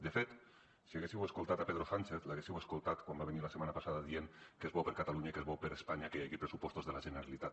de fet si haguéssiu escoltat pedro sánchez l’haguéssiu escoltat quan va venir la setmana passada dient que és bo per a catalunya i que és bo per a espanya que hi hagi pressupostos de la generalitat